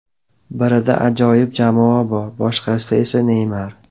Birida ajoyib jamoa bor, boshqasida esa Neymar.